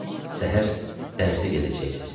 Səhər dərsə gedəcəksiz.